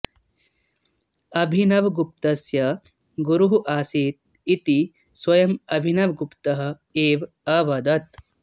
अभिनवगुप्तस्य गुरुः असीत् इति स्व्यं अभिनवगुप्तः एव अवदत्